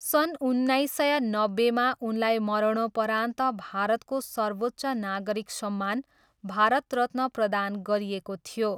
सन् उन्नाइस सय नब्बेमा उनलाई मरणोपरान्त भारतको सर्वोच्च नागरिक सम्मान भारत रत्न प्रदान गरिएको थियो।